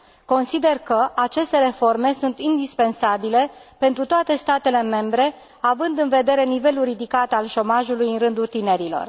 Consider că aceste reforme sunt indispensabile pentru toate statele membre având în vedere nivelul ridicat al șomajului în rândul tinerilor.